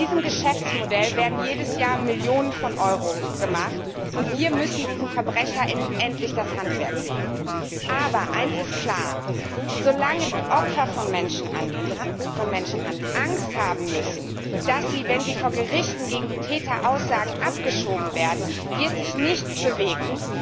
Mit diesem Geschäftsmodell werden jedes Jahr Millionen von Euro gemacht, und wir müssen diesen Verbrechern endlich das Handwerk legen. Aber eines ist klar Solange die Opfer von Menschenhandel Angst haben müssen, dass sie, wenn sie vor Gerichten gegen die Täter aussagen, abgeschoben werden, wird sich nichts bewegen.